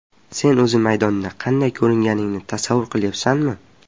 Sen o‘zi maydonda qanday ko‘ringaningni tasavvur qilyapsanmi?